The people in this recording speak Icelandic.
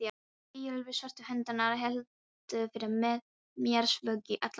Eyjólfur Svörtu hundarnir héldu fyrir mér vöku í alla nótt.